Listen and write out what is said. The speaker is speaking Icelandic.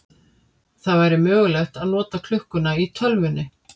Það væri mögulegt að nota klukkuna í tölvunni.